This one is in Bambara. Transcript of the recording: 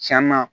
Cɛn na